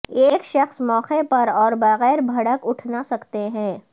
ایک شخص موقع پر اور بغیر بھڑک اٹھنا سکتے ہیں